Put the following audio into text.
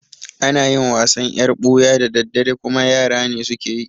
Ana yin wasan yar ɓuya da daddare kuma yara ne suke yi